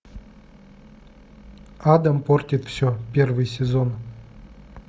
адам портит все первый сезон